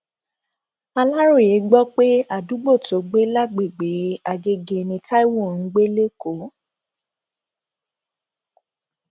aláròye gbọ pé àdúgbò tọgbẹ lágbègbè agege ni taiwo ń gbé lẹkọọ